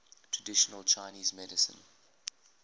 traditional chinese medicine